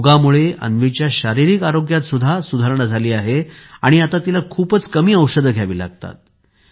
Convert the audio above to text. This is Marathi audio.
योगमुळे अन्वीच्या शारीरिक आरोग्यात देखील सुधारणा झाली आहे आणि आता तिला खूपच कमी औषधे घ्यावी लागतात